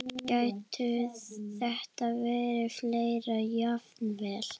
Gætu þetta verið fleiri jafnvel?